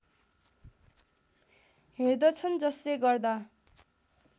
हेर्दछन् जसले गर्दा